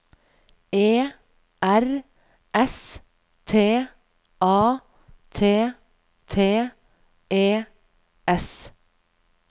E R S T A T T E S